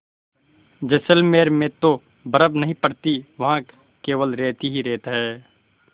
जैसलमेर में तो बर्फ़ नहीं पड़ती वहाँ केवल रेत ही रेत है